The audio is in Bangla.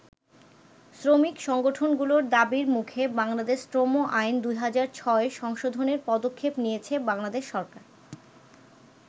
শ্রমিক সংগঠনগুলোর দাবির মুখে বাংলাদেশ শ্রম আইন ২০০৬ সংশোধনের পদক্ষেপ নিয়েছে বাংলাদেশ সরকার।